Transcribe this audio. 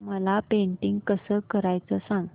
मला पेंटिंग कसं करायचं सांग